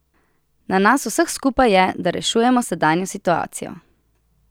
Na nas vseh skupaj je, da rešujemo sedanjo situacijo!